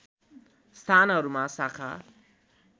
स्थानहरूमा शाखा